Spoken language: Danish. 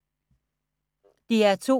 DR2